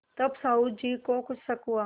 तब साहु जी को कुछ शक हुआ